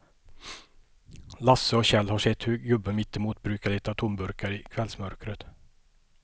Lasse och Kjell har sett hur gubben mittemot brukar leta tomburkar i kvällsmörkret.